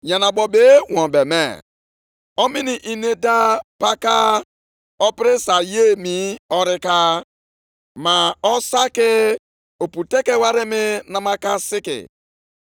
“ ‘Ma ugbu a, chezienụ echiche banyere ihe ndị ga-emenụ site taa gaa nʼihu. Tuleenụ otu ihe si dị tupu adọnye otu nkume nʼelu ibe ya nʼụlọnsọ ukwu nke Onyenwe anyị.